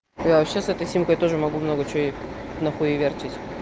я вообще с этой симкой тоже могу много чего ей на хуевертить